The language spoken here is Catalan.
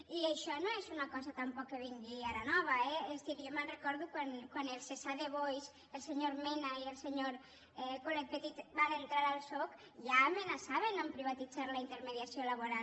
i això no és una cosa tampoc que vingui ara nova eh és a dir jo me’n recordo quan els esade boys el senyor mena i el senyor colet petit van entrar al soc ja amenaçaven de privatitzar la intermediació laboral